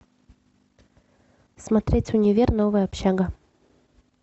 смотреть универ новая общага